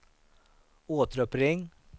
återuppring